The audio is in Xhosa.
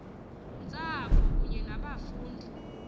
ntsapho kunye nabafundi